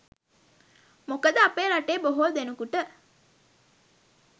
මොකද අපේ රටේ බොහෝ දෙනෙකුට